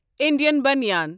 Indian بنیان